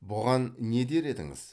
бұған не дер едіңіз